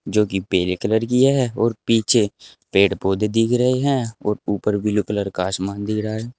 जो कि पेले कलर की है और पीछे पेड़ पौधे दिख रहे हैं और ऊपर ब्लू कलर का आसमान दिख रहा है।